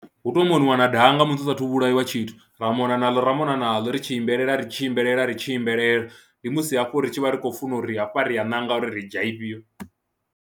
Hu tou moniwa na danga musi hu saathu vhulaiwa tshithu, ra mona naḽo ra mona naḽo ri tshi imbelela ri tshi imbelela ri tshi imbelela ndi musi hafho ri tshi vha ri khou funa uri hafha ri a ṋanga uri ri dzhia ifhio.